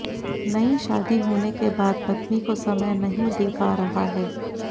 नई शादी होने के बाद पत्नी को समय नहीं दे पा रहा है